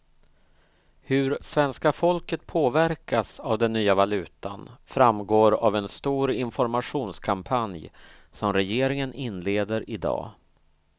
Hur svenska folket påverkas av den nya valutan framgår av en stor informationskampanj som regeringen inleder i dag.